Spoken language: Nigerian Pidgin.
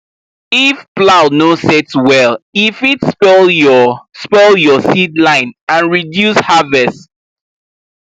if plow no set well e fit spoil your spoil your seed line and reduce harvest